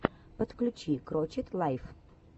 подключи крочет лайф